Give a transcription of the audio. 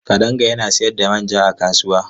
Kadanga yana sayar da manja a kasuwa.